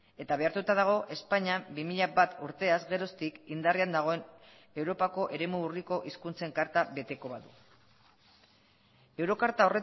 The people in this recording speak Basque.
eta behartuta dago espainia bi mila bat urteaz geroztik indarrean dagoen europako eremu urriko hizkuntzen karta beteko badu euro karta